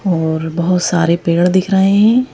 और बहोत सारे पेड़ दिख रहे हैं।